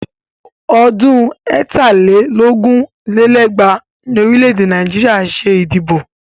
Ọdún ẹ̀ta lé lógún lé lẹ́gbàá ni orílẹ̀ Nàìjíríà ṣe ìdìbò.